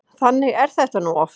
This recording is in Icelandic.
Þannig er þetta nú oft.